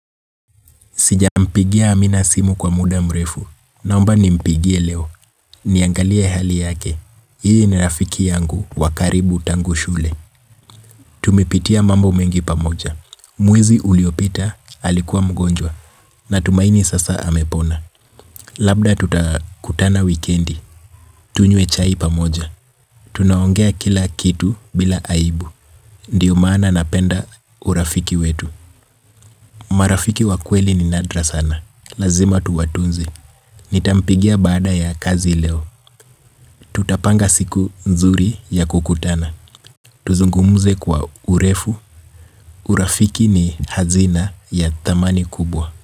Sijampigia amina simu kwa muda mrefu naomba nimpigie leo niangalie hali yake yeye ni rafiki yangu wa karibu tangu shule. Tumepitia mambo mengi pamoja, mwezi uliopita alikuwa mgonjwa natumaini sasa amepona. Labda tutakutana wikendi, tunywe chai pamoja, tunaongea kila kitu bila aibu, ndio maana napenda urafiki wetu. Marafiki wa kweli ni nadra sana. Lazima tuwatunze. Nitampigia baada ya kazi leo. Tutapanga siku nzuri ya kukutana. Tuzungumuze kwa urefu. Urafiki ni hazina ya thamani kubwa.